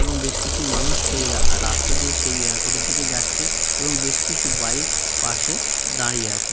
এবং বেশ কিছু মানুষ সেই রা রাস্তা দিয়ে সেই এয়ারপোর্ট -এর দিকে যাচ্ছে এবং বেশ কিছু বাইক পাশে দাঁড়িয়ে আছে ।